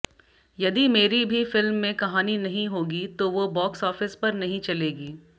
यदि मेरी भी फिल्म में कहानी नहीं होगी तो वो बॉक्स ऑफिस पर नहीं चलेगी